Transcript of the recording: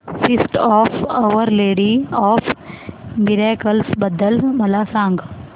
feast of our lady of miracles बद्दल मला सांगा